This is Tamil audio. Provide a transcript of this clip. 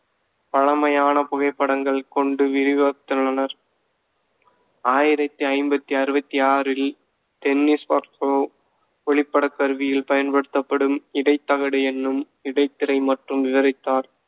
பழமையான புகைப்படங்கள் கொண்டு விரிவாத்துள்ளனர். ஆயிரத்தி ஐம்பத்தி அறுவத்தி ஆறில் ஒளிப்படக் கருவியில் பயன்படுத்தப்படும், இடைத் தகடு எனும் இடைத்திரை மற்றும் விவரித்தார்.